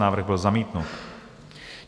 Návrh byl zamítnut.